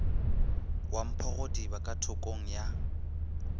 wa mphogodiba ka thokong ya